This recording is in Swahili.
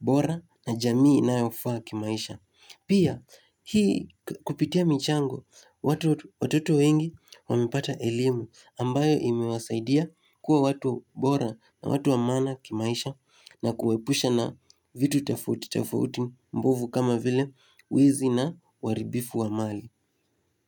bora na jamii inayofaa kimaisha Pia, hii kupitia michango, watoto wengi wamepata elimu ambayo imewasaidia kuwa watu bora na watu wa maana kimaisha na kuwahepusha na vitu tofauti tofauti mbovu kama vile wizi na uharibifu wa mali.